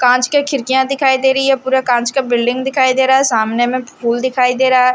कांच के खिड़कियां दिखाई दे रही है पूरा कांच का बिल्डिंग दिखाई दे रहा है सामने में फूल दिखाई दे रहा है।